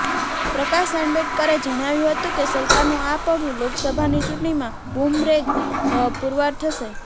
પ્રકાશ આંબેડકરે જણાવ્યું હતું કે સરકારનું આ પગલું લોકસભાની ચૂંટણીમાં બુમરેંગ પુરવાર થશે